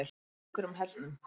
Ökrum Hellnum